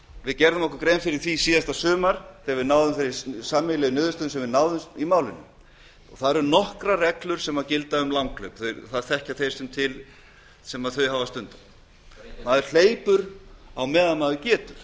við gerðum okkur grein fyrir því síðasta sumar þegar við náðum þeirri sameiginlega niðurstöðu sem hefur náðst í málinu það eru nokkrar reglur sem gilda um langhlaup það þekkja þeir sem þau hafa stundað maður hleypur á meðan maður getur